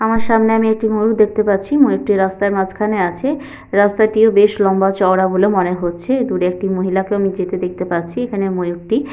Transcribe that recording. আমার সামনে আমি একটি ময়ূর দেখতে পাচ্ছি ময়ূরটি রাস্তার মাঝখানে আছে রাস্তাটিও বেশ লম্বা চওড়া বলে মনে হচ্ছে দূরে একটি মহিলাকেও যেতে দেখতে পাচ্ছি এখানে ময়ূরর্টি--